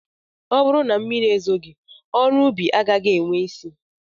Ọ bụrụ na mmiri ezoghị ọrụ ubi agaghị enwe isi